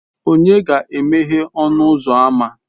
Ònye ga-emeghe ọnụ ụzọ ámá?